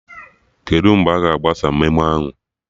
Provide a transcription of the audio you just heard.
Kedụ mgbe aga agbasa memo ahụ?